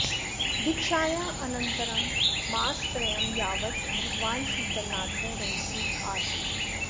दीक्षायाः अनन्तरं मासत्रयं यावत् भगवान् शीतलनाथः रहसि आसीत्